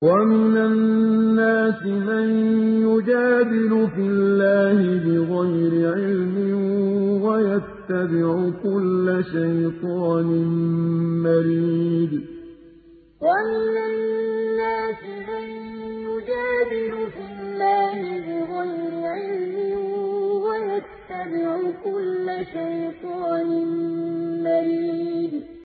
وَمِنَ النَّاسِ مَن يُجَادِلُ فِي اللَّهِ بِغَيْرِ عِلْمٍ وَيَتَّبِعُ كُلَّ شَيْطَانٍ مَّرِيدٍ وَمِنَ النَّاسِ مَن يُجَادِلُ فِي اللَّهِ بِغَيْرِ عِلْمٍ وَيَتَّبِعُ كُلَّ شَيْطَانٍ مَّرِيدٍ